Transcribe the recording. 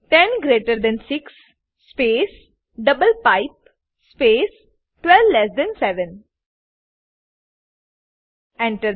10 greater than 6 space double pipe space 12 less than 7 Enter